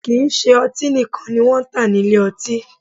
Kì í ṣe ọtí nìkan ni wọ́n ń tà ní ilé ọtí